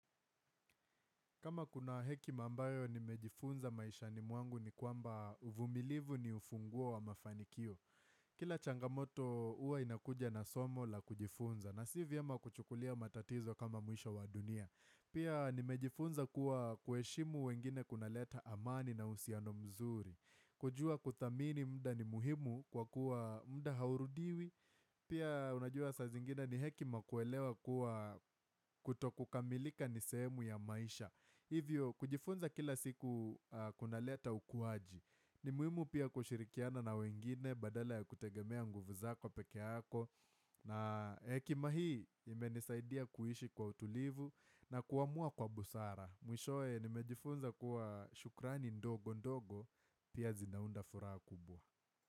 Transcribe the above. Kama kuna hekima ambayo nimejifunza maishani mwangu ni kwamba uvumilivu ni ufunguo wa mafanikio. Kila changamoto uwa inakuja na somo la kujifunza na si viema kuchukulia matatizo kama mwisho wa dunia. Pia nimejifunza kuwa kuheshimu wengine kunaleta amani na uhusiano mzuri. Kujua kuthamini muda ni muhimu kwa kuwa muda haurudiwi. Pia unajua saa zingina ni hekima kuelewa kuwa kutokukamilika ni sehemu ya maisha. Hivyo, kujifunza kila siku kunaleta ukuaji. Ni muhimu pia kushirikiana na wengine badala ya kutegemea nguvu zako peke yako. Na hekima hii imenisaidia kuishi kwa utulivu na kuamua kwa busara. Mwishowe, nimejifunza kuwa shukrani ndogo ndogo, pia zinaunda furaha kubwa.